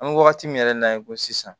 An bɛ wagati min yɛrɛ na i ko sisan